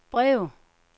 brev